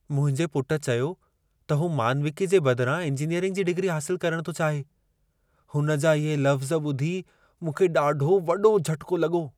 मुंहिंजे पुटु चयो त हू मानविकी जे बदिरां इंजीनियरिंग जी डिग्री हासिलु करणु थो चाहे। हुन जा इहे लफ़्ज़ ॿुधी मूंखे ॾाढो वॾो झटिको लॻो।